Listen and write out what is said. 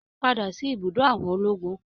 Padà sí ibùdó àwọn ológun